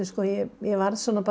ég varð